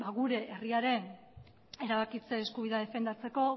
gure herriaren erabakitze eskubidea defendatzeko